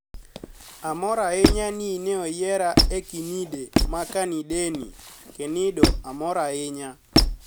Amor ahiniya nii ni e oyiera e kinide makenidenii, kenido amor ahiniya.